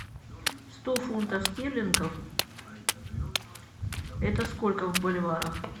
сто фунтов стерлингов это сколько в боливарах